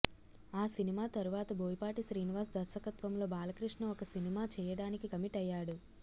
ఆ సినిమా తరువాత బోయపాటి శ్రీనివాస్ దర్శకత్వంలో బాలకృష్ణ ఒక సినిమా చేయడానికి కమిట్ అయ్యాడు